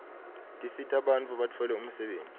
tisita bantfu batfole umsebtniti